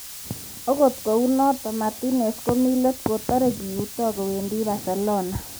(Sky Sports) Akot kunatok, Martinez komi let kotare koiuto kowendi Barcelona.